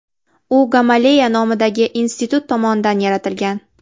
U Gamaleya nomidagi institut tomonidan yaratilgan.